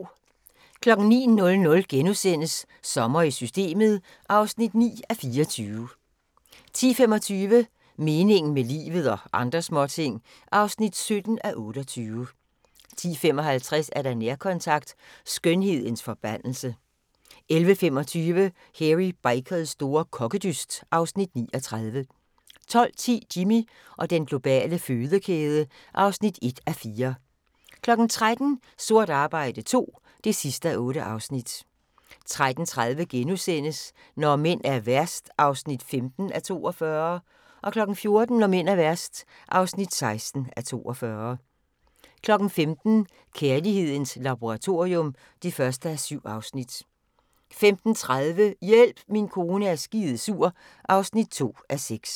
09:00: Sommer i Systemet (9:24)* 10:25: Meningen med livet – og andre småting (17:28) 10:55: Nærkontakt - Skønhedens forbandelse 11:25: Hairy Bikers store kokkedyst (Afs. 39) 12:10: Jimmy og den globale fødekæde (1:4) 13:00: Sort arbejde II (8:8) 13:30: Når mænd er værst (15:42)* 14:00: Når mænd er værst (16:42) 15:00: Kærlighedens laboratorium (1:7) 15:30: Hjælp min kone er skidesur (2:6)